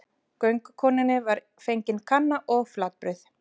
Göngukonunni var fengin kanna og flatbrauð.